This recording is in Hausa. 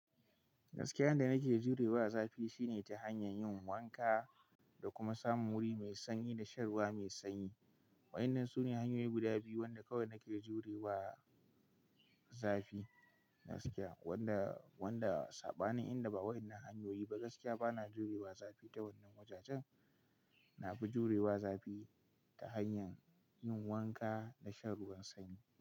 Gaskiya, yanda nake jurewa a zafi shine ta hanyar yin wanka da kuma samun wuri mai sanyi da shan ruwa mai sanyi. Wa'inan su ne hanyoyi guda biyu wanda kawai nake jurewa zafi gaskiya. Wanda, wanda saɓanin inda ba wa'innan hanyoyi ba gaskiya bana jurewa zafi ta wannan wajajen. Na fi jurewa zafi ta hanyar yin wanka da shan ruwan sanyi.